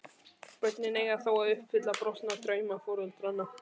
Börnin eiga þá að uppfylla brostna drauma foreldranna.